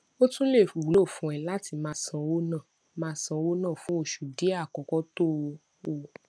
ó tún lè wúlò fún ẹ láti máa ṣówó ná máa ṣówó ná fún oṣù díè àkókó tó o